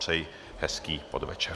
Přeji hezký podvečer.